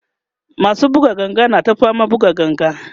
masu buga ganga na ta faman buga ganga